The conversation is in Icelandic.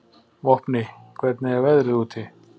Vopni, hvernig er veðrið úti?